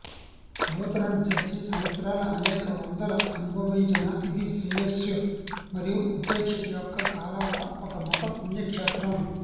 Lutheran church సంవత్సరాల అనేక వందల అనుభవించిన ఇది శ్రేయస్సు మరియు ఉపేక్ష యొక్క కాలాలు ఒక మత పుణ్యక్షేత్రం